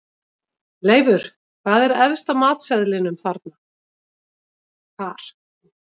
Leifur, hvað er efst á matseðlinum þar?